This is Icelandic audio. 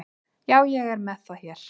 Já, ég er með það hér.